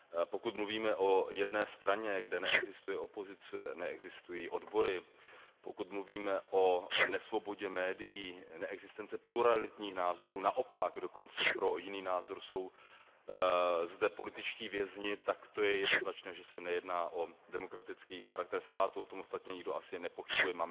Pokud mluvíme o jedné straně, kde neexistuje opozice, neexistují odbory, pokud mluvíme o nesvobodě médií, neexistenci pluralitních názorů, naopak dokonce pro jiný názor jsou zde političtí vězni, tak to je jednoznačné, že se nejedná o demokratický charakter státu, o tom ostatně nikdo ani nepochybuje.